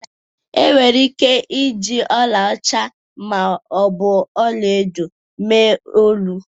Enwere ike iji ọlaọcha ma ọ bụ ọla edo mee olu.